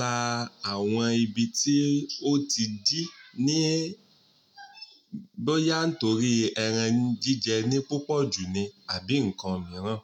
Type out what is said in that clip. la àwọn ibi tí ó ti dí, ní, bóyá nítorí ẹran jíjẹ ni púpọ̀ jù ni àbí ǹkan mìíràn.